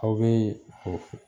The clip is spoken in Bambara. Aw bee o f